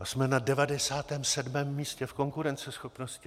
A jsme na 97. místě v konkurenceschopnosti.